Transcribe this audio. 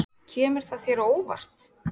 Kemur það þér á óvart?